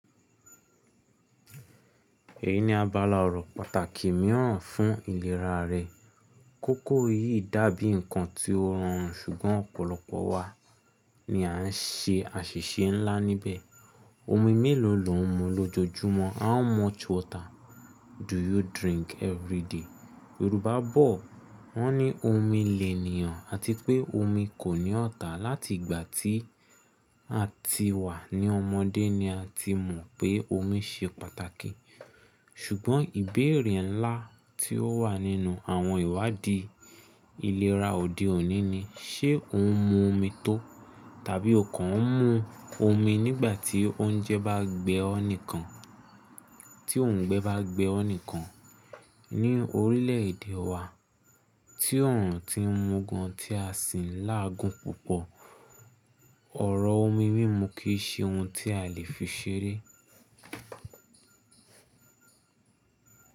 Èyí ni abála ọ̀rọ̀ pàtàkì mìíràn fún ìlera rẹ. Kókó yìí dàbí ǹkan tí ó rọrùn ṣùgbọ́n ọ̀pọ̀lọpọ̀ wa ni a ń ṣe àṣìṣe ńlá níbẹ̀. Omi mélòó lọ ń mu lójoojúmọ́? How much water do you drink everyday? Yorùbá bọ̀ wọ́n ní “omi lẹ̀nìyàn” àti pé “omi kò ní ọ̀tá”. Láti ìgbà tí a ti wà ní ọmọdé ni a ti mọ̀ pé omi ṣe pàtàkì. Ṣùgbọ́n ìbéèrè ńlá tí ó wà nínú àwọn ìwádìí ìlera òde òní ni: ṣe òun ń mu omi tó? Tàbí ọ̀kọ̀ ń mu omi nígbà tí oúnjẹ bá gbé ọ́ nìkan? Tí òùngbẹ bá gbé ọ́ nìkan? Ní orílẹ̀èdè wa tí ọ̀run tí ń mú gan tí a sì ń láàgun púpọ̀, ọ̀rọ̀ omi mímù kì í ṣe ohun tí a lè fi ṣeré.